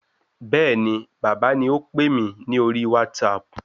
Bẹ́ẹ̀ni bàbá ni ópè mi ní orí WhatsApp